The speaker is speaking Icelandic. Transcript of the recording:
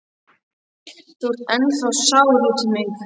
Þú ert ennþá sár út í mig.